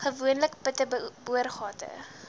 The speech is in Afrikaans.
gewoonlik putte boorgate